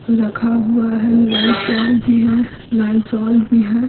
रखा हुआ है लाइफबॉय भी है लाइज़ोल भी है।